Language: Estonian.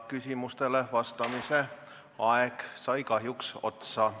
Küsimustele vastamise aeg sai kahjuks otsa.